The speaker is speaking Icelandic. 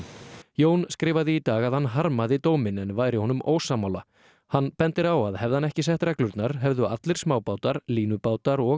Jón skrifaði í dag að hann harmaði dóminn en væri honum ósammála hann bendir á að hefði hann ekki sett reglurnar hefðu allir smábátar línubátar og